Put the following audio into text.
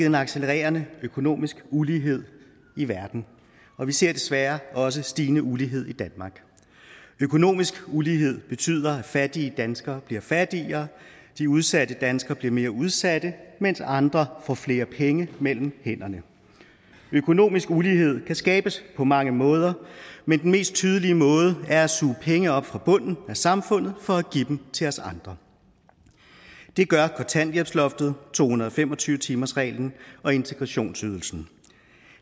en accelererende økonomisk ulighed i verden og vi ser desværre også stigende ulighed i danmark økonomisk ulighed betyder at fattige danskere bliver fattigere at de udsatte danskere bliver mere udsatte mens andre får flere penge mellem hænderne økonomisk ulighed kan skabes på mange måder men den mest tydelige måde er at suge penge op fra bunden af samfundet for at give dem til os andre det gør kontanthjælpsloftet to hundrede og fem og tyve timersreglen og integrationsydelsen